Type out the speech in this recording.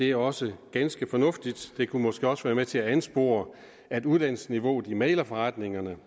er også ganske fornuftigt det kunne måske også være med til at anspore at uddannelsesniveauet i mæglerforretningerne